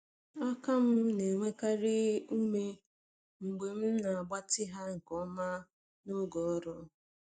Aka m na-enwekarị ume mgbe m na-agbatị ha nke ọma n’oge ọrụ.